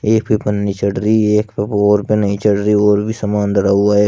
एक पे पन्नी चढ़ रही है एक पे औऱ पे नही चढ़ रही औऱ भी सामान धरा हुआ है।